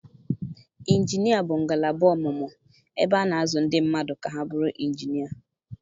Injinia bụ ngalaba ọmụmụ ebe a na-azụ ndị mmadụ ka ha bụrụ injinia.